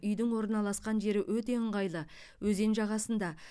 үйдің орналасқан жері өте ыңғайлы өзен жағасында